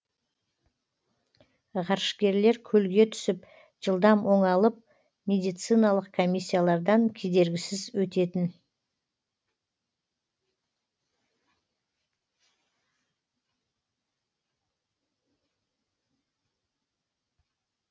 ғарышкерлер көлге түсіп жылдам оңалып медициналық комиссиялардан кедергісіз өтетін